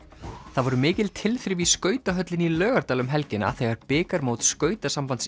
það voru mikil tilþrif í skautahöllinni í Laugardal um helgina þegar bikarmót